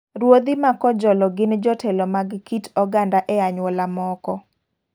Ruodhi ma kojolo gin jotelo mag kit oganda e anyuola m0ko.